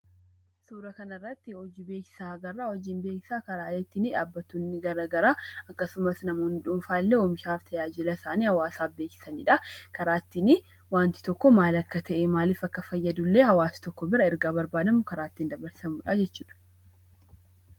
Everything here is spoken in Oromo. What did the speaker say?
Suura kana irratti hojii beeksisaa agarra. Hojiin beeksisaa karaalee ittiin dhaabbattoonni garaagaraa akkasumas namoonni dhuunfaa illee oomisha fi tajaajila isaanii karaa isaan beeksisanidha. Karaa ittiin waanti tokko maal akka ta'e maaliif akka fayyadu illee hawaasa tokko bira ergaa barbaadamu ittiin dabarsanidha.